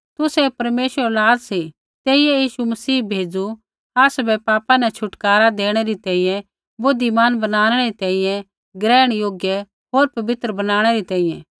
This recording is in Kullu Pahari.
तुसै परमेश्वरा री औलाद सी तेइयै यीशु मसीह भेज़ू आसाबै पापा न छुटकारा देणै री तैंईंयैं बुद्धिमान बनाणै री तैंईंयैं ग्रहण योग्य होर पवित्र बनाणै री तैंईंयैं